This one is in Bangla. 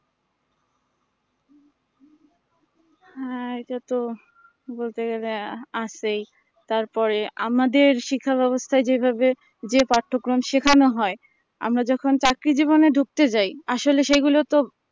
হ্যাঁ এটা তো বলতে গেলেই আহ আছেই তারপরে আমাদের শিক্ষা ব্যাবস্থা যেভাবে যে পাঠক্রম শেখানো হয় আমরা যখন চাকরি জীবনে ঢুকতে যাই আসলে সেই সেগুলো তো